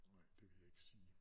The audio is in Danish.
Nej det vil jeg ikke sige